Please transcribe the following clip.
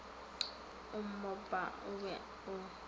o mmopa o be o